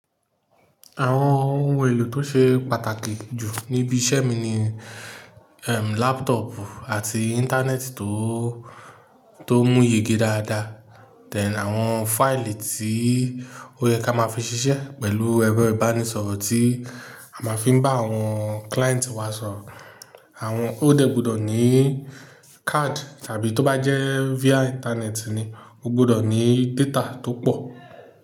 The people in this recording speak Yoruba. Àwọn ohun èlò tó ṣe pàtàkì jù níbi iṣẹ́ mi ni, ehn, laptop àti Internet tó, tó mú yege dáadáa. Then, àwọn fáìlì tí ó yẹ ká máa fi ṣiṣẹ́ pẹ̀lú ẹ̀rọ ìbánisọ̀rọ̀ tí a máa fi ń bá àwọn client wa sọ̀rọ̀. Àwọn ó dà gbọdọ̀ ní card tàbí tó bá jẹ́ via Internet ni, ó gbọdọ̀ ní data tó pọ̀